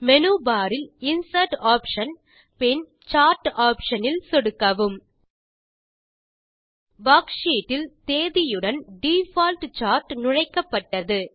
menu bar இல் insert option பின் chart option இல் சொடுக்கவும் வர்க்ஷீட் இல் தேதியுடன் டிஃபால்ட் சார்ட் நுழைக்கப்பட்டது